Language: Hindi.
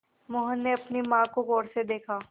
मोहन ने अपनी माँ को गौर से देखा